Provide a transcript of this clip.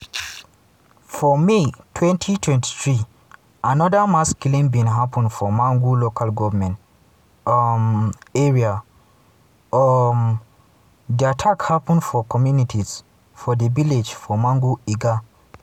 for may 2023 anoda mass killing bin happun for mangu local goment um area um di attack happun for communities for di villages for mangu lga.